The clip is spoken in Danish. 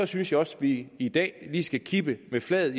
synes også vi i dag lige skal kippe med flaget